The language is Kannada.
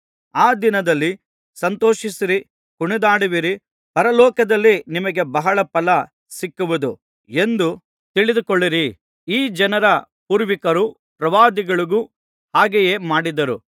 ಆ ದಿನದಲ್ಲಿ ಸಂತೋಷಿಸಿ ಕುಣಿದಾಡುವಿರಿ ಪರಲೋಕದಲ್ಲಿ ನಿಮಗೆ ಬಹಳ ಫಲ ಸಿಕ್ಕುವುದು ಎಂದು ತಿಳಿದುಕೊಳ್ಳಿರಿ ಈ ಜನರ ಪೂರ್ವಿಕರು ಪ್ರವಾದಿಗಳಿಗೂ ಹಾಗೆಯೇ ಮಾಡಿದರು